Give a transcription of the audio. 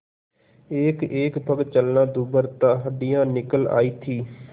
एकएक पग चलना दूभर था हड्डियाँ निकल आयी थीं